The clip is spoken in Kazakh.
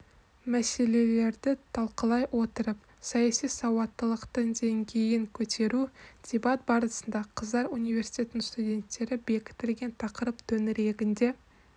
мәселелерді талқылай отырып саяси сауаттылықтың деңгейін көтеру дебат барысында қыздар университетінің студенттері бекітілген тақырып төңірегінде